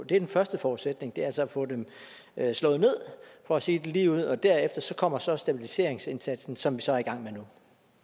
den første forudsætning altså at få dem slået ned for at sige det lige ud og derefter kommer så stabiliseringsindsatsen som vi så er i gang med nu